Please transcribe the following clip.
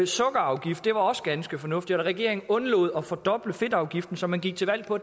sukkerafgift var også ganske fornuftigt og at regeringen undlod at fordoble fedtafgiften som man gik til valg på